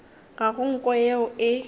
ga go nko yeo e